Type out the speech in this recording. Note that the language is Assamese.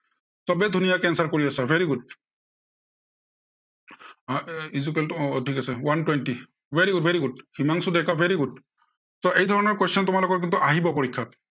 সৱেই ধুনীয়াকে answer কৰি আছা, very good আহ equal টো আহ ঠিক আছে very good, very good Himanshu Deka very good so এই ধৰণৰ question তোমালোকৰ কিন্তু আহিব পৰীক্ষাত